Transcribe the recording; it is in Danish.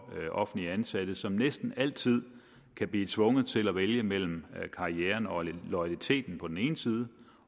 offentligt ansatte som næsten altid kan blive tvunget til at vælge mellem karrieren og loyaliteten på den ene side